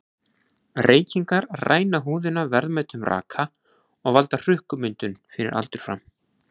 Reykingar ræna húðina verðmætum raka og valda hrukkumyndun fyrir aldur fram.